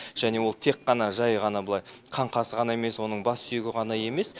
және ол тек қана жай ғана былай қаңқасы ғана емес оның бас сүйегі ғана емес